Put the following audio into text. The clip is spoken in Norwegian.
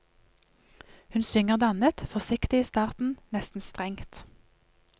Hun synger dannet, forsiktig i starten, nesten strengt.